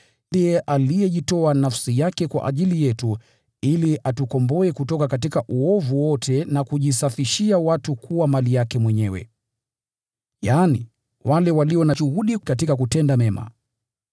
Ndiye alijitoa nafsi yake kwa ajili yetu, ili atukomboe kutoka uovu wote na kujisafishia watu kuwa mali yake Mwenyewe, yaani, wale walio na juhudi katika kutenda mema.